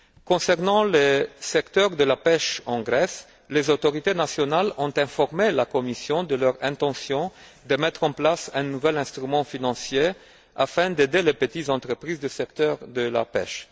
Concernant le secteur de la pêche en Grèce, les autorités nationales ont informé la Commission de leur intention de mettre en place un nouvel instrument afin d'aider les petites entreprises du secteur de la pêche.